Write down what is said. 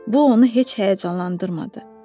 Bu onu heç həyəcanlandırmadı.